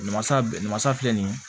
Masa masa filɛ nin ye